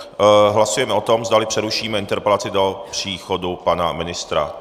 Hlasujeme o tom, zdali přerušíme interpelaci do příchodu pana ministra.